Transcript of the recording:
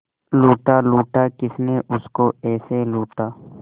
लूटा लूटा किसने उसको ऐसे लूटा